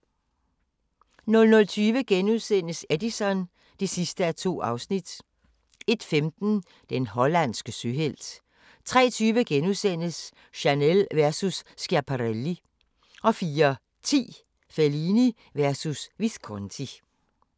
00:20: Edison (2:2)* 01:15: Den hollandske søhelt 03:20: Chanel versus Schiaparelli * 04:10: Fellini versus Visconti